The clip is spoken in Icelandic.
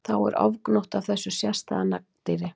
Þá er ofgnótt af þessu sérstæða nagdýri.